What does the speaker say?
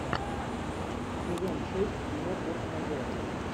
сезон шесть кино форс мажоры